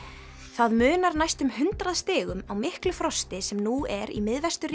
það munar næstum hundrað stigum á miklu frosti sem nú er í